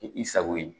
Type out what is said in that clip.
I sago ye